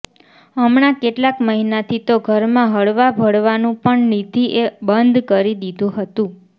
હમણાં કેટલાંક મહિનાથી તો ઘરમાં હળવાભળવાનું પણ નિધિ એ બંધ કરી દીધું હતું